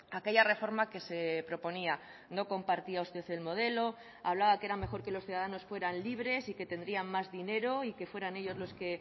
a aquella reforma que se proponía no compartía usted el modelo hablaba que era mejor que los ciudadanos fueran libres y que tendrían más dinero y que fueran ellos los que